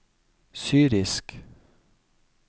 syrisk